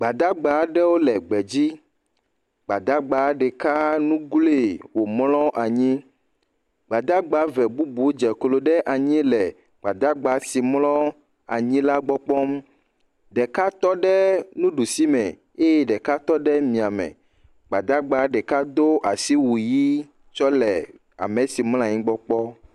Emɔzɔlawo aɖe ɖo yameʋu va ɖi. Wo va ɖi ɖe yameʋu dzeƒe eye wole ɖiɖim le yameʋua me. Nyɔnu, ŋutsu kple ɖeviwo sĩa. Eɖewo ɖi vɔ. Wonɔ asi ʋuʋum na wonɔewo, ɖewo le wòƒe agbawo ɖe asi nɔ ɖiɖim tso yameʋu la me.